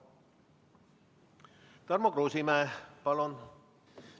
Tarmo Kruusimäe, palun!